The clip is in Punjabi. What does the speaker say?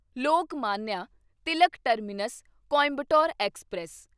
Lokmanya Tilak terminus Coimbatore express